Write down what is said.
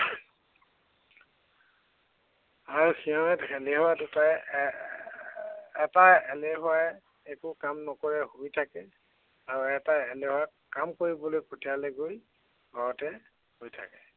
আৰু সিহঁত, সিহঁত দুটাই এৰ এটা এলেহুৱাই একো কাম নকৰে শুই থাকে। আৰু এটা এলেহুৱাই কাম কৰিবলৈ পঠিয়ালে গৈ ঘৰতে শুই থাকে।